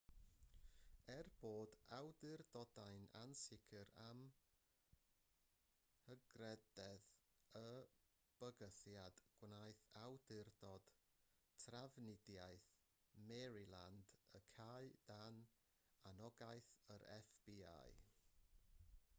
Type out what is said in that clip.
er bod awdurdodau'n ansicr am hygrededd y bygythiad gwnaeth awdurdod trafnidiaeth maryland y cau dan anogaeth yr fbi